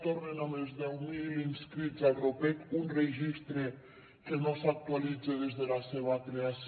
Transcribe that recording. tornen amb els deu mil inscrits al ropec un registre que no s’actualitza des de la seva creació